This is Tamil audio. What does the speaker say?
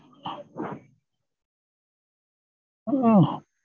உம்